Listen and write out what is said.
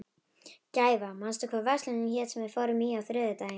Gæfa, manstu hvað verslunin hét sem við fórum í á þriðjudaginn?